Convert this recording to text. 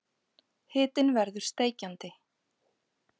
Hitinn verður steikjandi.